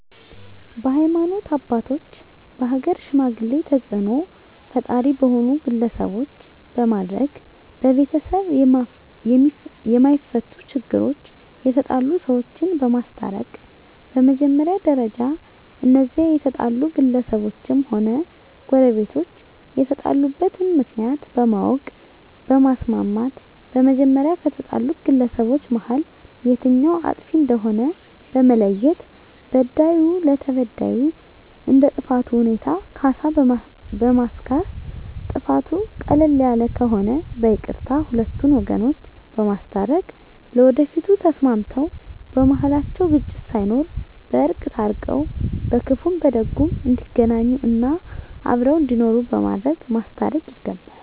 በሀይማኖት አባቶች በሀገር ሽማግሌ ተፅእኖ ፈጣሪ በሆኑ ግለሰቦች በማድረግ በቤተሰብ የማፈቱ ችግሮች የተጣሉ ሰዎችን በማስታረቅ በመጀመሪያ ደረጃ እነዚያ የተጣሉ ግለሰቦችም ሆነ ጎረቤቶች የተጣሉበትን ምክንያት በማወቅ በማስማማት በመጀመሪያ ከተጣሉት ግለሰቦች መሀል የትኛዉ አጥፊ እንደሆነ በመለየት በዳዩ ለተበዳዩ እንደ ጥፋቱ ሁኔታ ካሳ በማስካስ ጥፋቱ ቀለል ያለ ከሆነ በይቅርታ ሁለቱን ወገኖች በማስታረቅ ለወደፊቱ ተስማምተዉ በመሀላቸዉ ግጭት ሳይኖር በእርቅ ታርቀዉ በክፉም በደጉም እንዲገናኙ እና አብረዉ እንዲኖሩ በማድረግ ማስታረቅ ይገባል